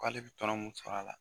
K'ale bɛ to anw kun sara la.